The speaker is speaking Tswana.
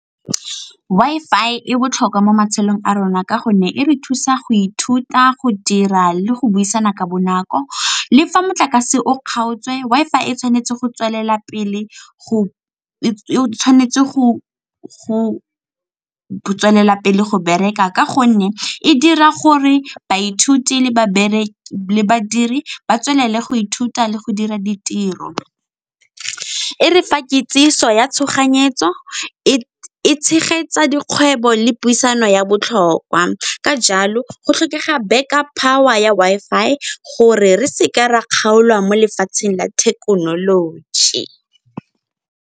Wi-Fi e botlhokwa mo matshelong a rona ka gonne e re thusa go ithuta go dira le go buisana ka bonako. Le fa motlakase o kgaotswe Wi-Fi e tshwanetse go tswelela pele go bereka ka gonne e dira gore baithuti le babereki ba dire ba tswelele go ithuta le go dira ditiro. E re fa kitsiso ya tshoganyetso, e tshegetsa dikgwebo le puisano ya botlhokwa ka jalo go tlhokega back up power ya Wi-Fi gore re se ke ra kgaolwa mo lefatsheng la thekenoloji.